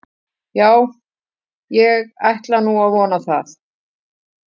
Já, ég ætla nú að vona það.